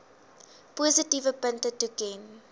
positiewe punte toeken